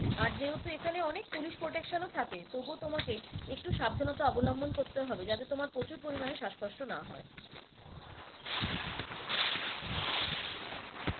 আর যেহেতু এখানে অনেক police protection ও থাকে তাবু তোমাকে একটু সাবধানতা অবলম্বন করতে হবে যাতে তোমার প্রচুর পরিমানে শ্বাসকষ্ট না হয়।